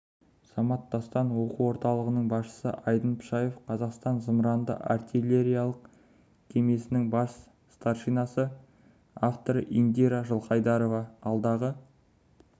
самат дастан оқу орталығының басшысы айдын пшаев қазақстан зымыранды-артиллериялық кемесінің бас старшинасы авторы индира жылқайдарова алдағы